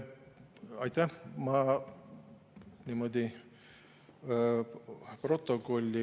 Aitäh!